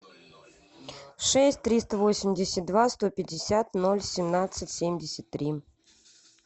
шесть триста восемьдесят два сто пятьдесят ноль семнадцать семьдесят три